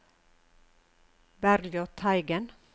Bergljot Teigen